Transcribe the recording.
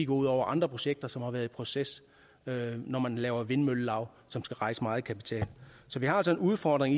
ud over andre projekter som har været i proces når man laver vindmøllelav som skal rejse meget kapital så vi har altså en udfordring